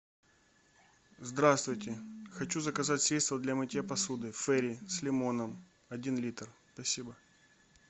здравствуйте хочу заказать средство для мытья посуды фейри с лимоном один литр спасибо